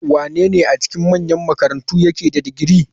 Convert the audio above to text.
Wanene a cikin manyan makarantu yake da digiri?